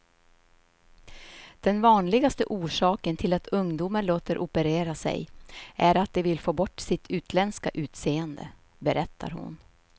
Den vanligaste orsaken till att ungdomar låter operera sig är att de vill få bort sitt utländska utseende, berättar hon.